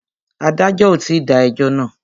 Adájọ́ ò tí dá ẹjọ́ náà.